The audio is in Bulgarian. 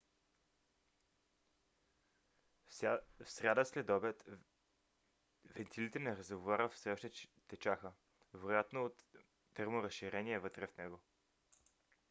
в сряда следобед вентилите на резервоара все още течаха вероятно от терморазширение вътре в него